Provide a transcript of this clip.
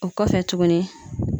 O kɔfɛ tuguni